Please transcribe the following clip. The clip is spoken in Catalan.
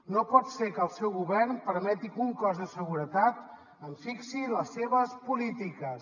no pot ser que el seu govern permeti que un cos de seguretat fixi les seves polítiques